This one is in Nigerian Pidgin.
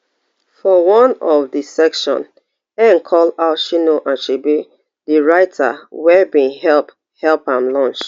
for one of di section ngg call out chinua achebe di writer wey bin help help am launch